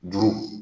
Juru